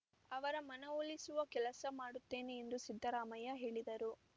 ಅವರ ಮನವೊಲಿಸುವ ಕೆಲಸ ಮಾಡುತ್ತೇನೆ ಎಂದು ಸಿದ್ದರಾಮಯ್ಯ ಹೇಳಿದರು